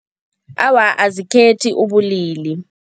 Awa, azikhethi ubulili.